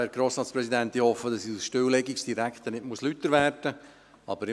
Ich hoffe, dass ich als Stilllegungsdirektor nicht lauter werden muss.